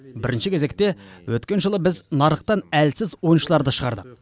бірінші кезекте өткен жылы біз нарықтан әлсіз ойыншыларды шығардық